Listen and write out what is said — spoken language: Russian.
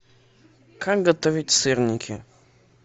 как готовить сырники